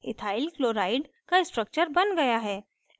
ethyl chloride का structure बन गया है